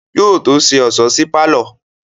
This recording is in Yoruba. Yóò tó ṣe ọ̀ṣọ́ sí pálọ̀